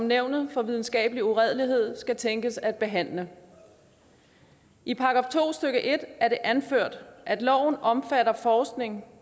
nævnet for videnskabelig uredelighed skal tænkes at behandle i § to stykke en er det anført at loven omfatter forskning